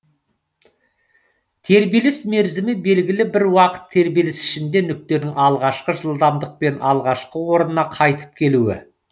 тербеліс мерзімі белгілі бір уақыт тербеліс ішінде нүктенің алғашқы жылдамдықпен алғашқы орнына қайтып келуі